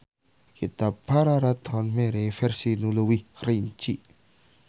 Kitab Pararaton mere versi nu leuwih rinci.